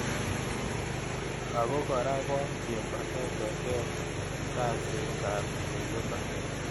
Ako kora bo kimbatete keet kaset ab tililindo